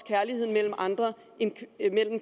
kærligheden mellem andre end